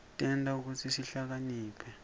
tenta kutsi sihlakaniphe